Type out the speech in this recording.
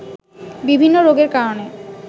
বিভিন্ন রোগের কারণে